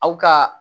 Aw ka